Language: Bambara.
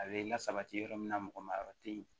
A bɛ lasabati yɔrɔ min na mɔgɔ ma yɔrɔ te yen